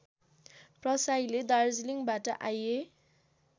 प्रसाईले दार्जलिङबाट आइए